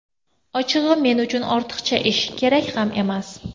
Ochig‘i, men uchun ortiqcha ish, kerak ham emas.